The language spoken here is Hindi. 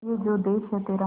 ये जो देस है तेरा